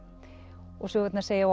og sögurnar segja